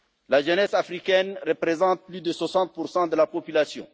La jeunesse africaine représente plus de 60 de la population.